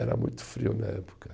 Era muito frio na época.